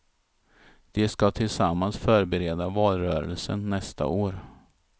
De ska tillsammans förbereda valrörelsen nästa år.